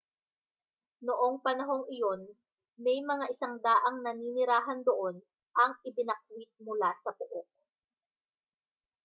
noong panahong iyon may mga 100 naninirahan doon ang ibinakwit mula sa pook